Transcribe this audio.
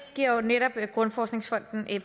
giver jo netop grundforskningsfonden